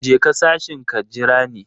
Je ka sashin ka jira ni.